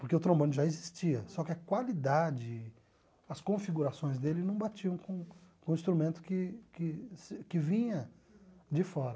Porque o trombone já existia, só que a qualidade, as configurações dele não batiam com com o instrumento que que que vinha de fora.